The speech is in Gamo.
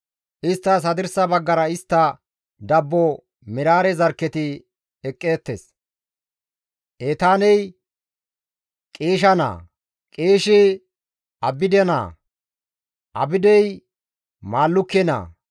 Isttas hadirsa baggara istta dabbo Meraare zarkketi eqqeettes; Etaaney Qiisha naa; Qiishi Abide naa; Abdey Maallukke naa;